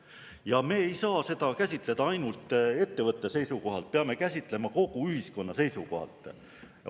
Ja me ei saa seda käsitleda ainult ettevõtte seisukohalt, peame käsitlema kogu ühiskonna seisukohalt.